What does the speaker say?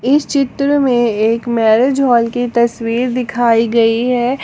इस चित्र में एक मैरेज हॉल की तस्वीर दिखाई गई है।